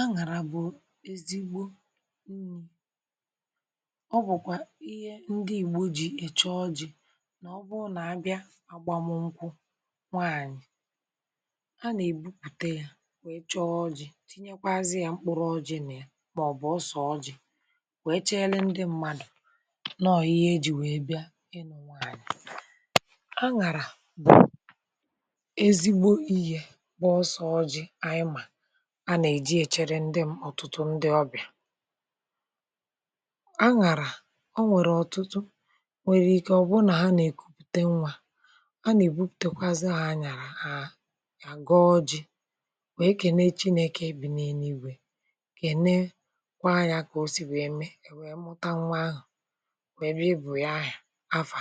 àṅàrà bụ̀ ezigbo um. ọ bụ̀kwà ihe ndị Ìgbò ji échò. dị nà ọ̀ bụrụ nà abịa agbàmụ̀ nkwụ, n’waànyị̀ a nà-èbupùte ya, wee chọọ̀ ojii, tinyekwazị ya um mkpụrụ̀ ojii nà ya, màọ̀bụ̀ bụ̀ ọsọ̀ ojii nà ya, wee chére ndị mmadụ̀ nà ọ̀ ihe e jiri wee bịa ịnụ̀. n’waànyị̀, àṅàrà bụ̀ ezigbo iyi̇ nà ósè ojii a nà-èjì èchere ndị ọbịà. ọ̀tụtụ̀ ndị ọbịà, àṅàrà o nweghị ọ̀tụtụ̀, nweghị ike ọ̀bụ́na ha nà-èkupute nwa. a nà-èbupùtekwazị ha àṅàrà a gọ̀ọ̀ ji, wèe kéne Chineke, bì niile ìgwè kéne, kwàa ya, kà ọ́ sị̀ wèe mee, wèe mụta nwa ahụ̀, wèe bịọ̀ ya. ha áfà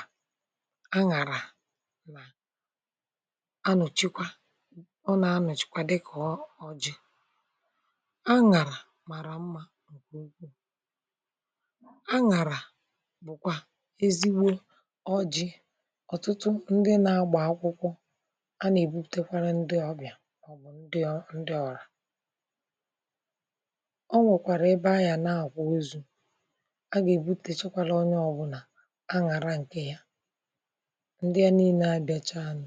àṅàrà a nà-ụ̀chikwa àṅàrà màrà mma. àṅàrà anàrà bụ̀kwà ezigbo ojii̇. ọ̀tụtụ̀ ndị na-agbà akwụkwọ, a nà-èbutùté kwára ndị ọbịà. ọ bụ̀ ndị ọrà. o nwekwara ebe ahịa nà-àkwụ́ ọ̀zù. a gà-èbutèkwàrà onye ọ̇bụ̇nà àṅàrà ǹkè ya. ndị a niile a bịàchá um,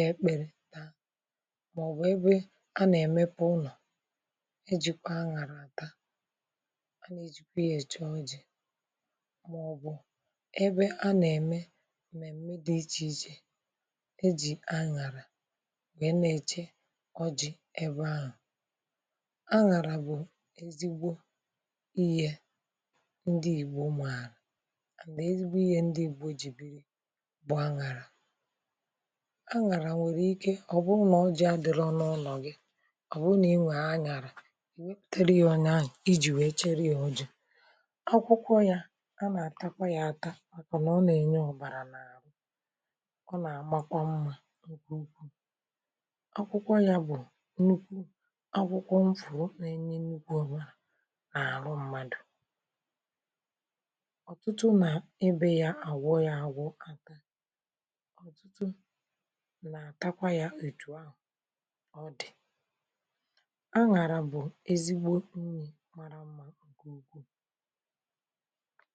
e kpéré taa, màọ̀bụ̀ ebe a na-èmepụ̀ ụnọ̀, e jikwa àṅụrụ̀ àtà. a nà-èjikwa ya échá ojii, màọ̀bụ̀ ebe a na-eme mmèmmé dị iche iche, e jì àṅụrụ̀ wèe na-èchere ọjị ebe ahụ̀. àṅụrụ̀ bụ̀ ezigbo ìhè ndị Ìgbò maara um. na ezigbo ìhè ndị Ìgbò ji biri bụ àṅụrụ̀. ànàrà nwèrè ike. ọ̀ bụrụ nà ọ́ jì adị̀rọ̀ n’ụlọ̀ gị, ọ̀ bụ̀ nà ị nwèé ànyàrà, i wepète rìònyè anyị, iji wèe chere ya. ọ́ jì akwụkwọ yà. a nà-àtakwa ya àtà àtọ, nà ọ́ nà-ènyé ọ̀bàrà n’árụ̀. ọ nà-àmakwa mma ǹkè ukwuù. akwụkwọ yà bụ̀ nnukwu akwụkwọ m̀fò. ọ́ nà-ènye nnukwu ọ̀bàrà àhụ́ nà-árụ̀ mmádụ̀. ọ̀tụtụ̀ nà ebe ya àwụọ ya àwụọ̇, kàtà nà-àtakwa ya. òtù ahụ̀ ọ dị̀, àṅàrà bụ̀ ezigbo unyi̇ màrà mma um ǹkè ukwuù.